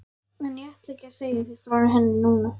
En ég ætla ekki að segja þér frá henni núna.